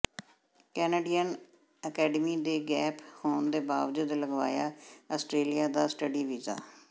Canadian academy ਨੇ gap ਹੋਣ ਦੇ ਬਾਵਜੂਦ ਲਗਵਾਇਆ ਆਸਟੇ੍ਰਲੀਆ ਦਾ ਸਟੱਡੀ ਵੀਜ਼ਾ